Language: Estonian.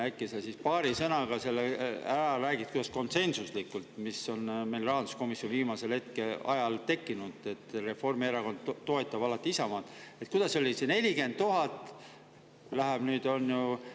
Äkki sa paari sõnaga räägid selle ära, kuidas konsensuslikult – see konsensus on meil viimasel ajal rahanduskomisjonis tekkinud, et Reformierakond toetab alati Isamaad – et see 40 000 läheb nüüd, on ju …